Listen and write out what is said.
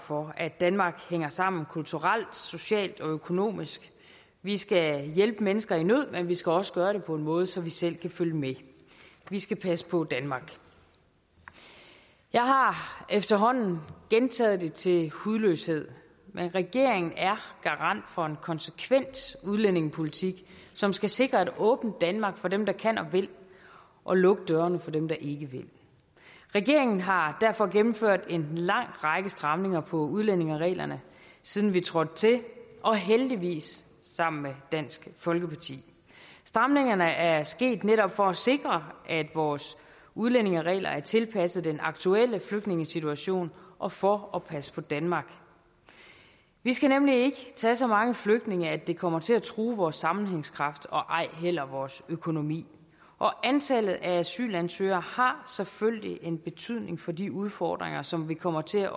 for at danmark hænger sammen kulturelt socialt og økonomisk vi skal hjælpe mennesker i nød men vi skal også gøre det på en måde så vi selv kan følge med vi skal passe på danmark jeg har efterhånden gentaget det til hudløshed men regeringen er garant for en konsekvent udlændingepolitik som skal sikre et åbent danmark for dem der kan og vil og lukke dørene for dem der ikke vil regeringen har derfor gennemført en lang række stramninger på udlændingereglerne siden vi trådte til og heldigvis sammen med dansk folkeparti stramningerne er sket netop for at sikre at vores udlændingeregler er tilpasset den aktuelle flygtningesituation og for at passe på danmark vi skal nemlig ikke tage så mange flygtninge at det kommer til at true vores sammenhængskraft og vores økonomi og antallet af asylansøgere har selvfølgelig en betydning for de udfordringer som vi kommer til at